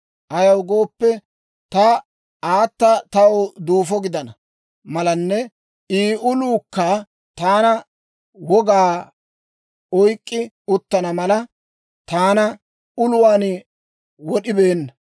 Ayaw gooppe, ta aata taw duufo gidana malanne I uluukka taana wogaa oyk'k'i uttana mala, taana uluwaan wod'ibeenna.